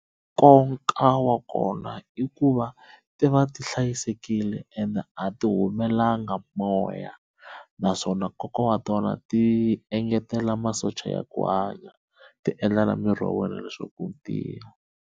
Nkoka wa kona i ku va ti va ti hlayisekile ende a ti humelanga moya naswona nkoka wa tona ti engetela masocha ya ku hanya ti endla na miri wa wena leswaku wu tiya.